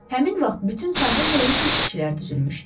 Həmin vaxt bütün sahil boyu keşikçilər düzülmüşdü.